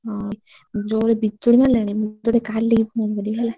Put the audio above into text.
ହଁ ଜୋରେ ବିଜୁଳି ମାରିଲାଣି ମୁଁ ତତେ କାଲି କି ଫୋନ କରିବି ହେଲା।